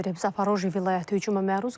Zaporoji vilayəti hücuma məruz qalıb.